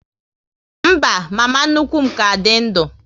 Mba, mama nnukwu m ka dị ndu